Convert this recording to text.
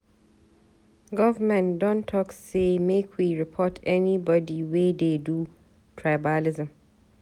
Government don talk sey make we report anybodi wey dey do tribalism.